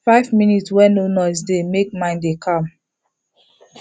five minute wey no noise dey make mind dey calm